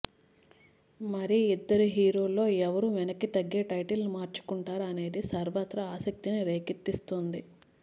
మరి ఇద్దరు హీరోల్లో ఎవరు వెనక్కి తగ్గి టైటిల్ మార్చుకుంటారా అనేది సర్వత్రా ఆసక్తిని రేకెత్తిస్తోంది